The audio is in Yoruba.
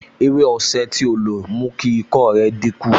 Ewé osè tí ó lo mú kí ikọ́ rẹ̀ dínkù